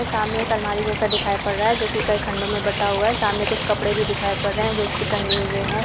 सामने एक अलमारी जैसा दिखाई पड़ रहा है जो कि कई खंडो मे बंटा हुआ है| सामने कुछ कपड़े भी दिखाई पड़ रहे हैं जो की टंगे हुए हैं।